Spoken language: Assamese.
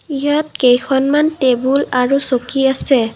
ইয়াত কেইখনমান টেবুল আৰু চকী আছে।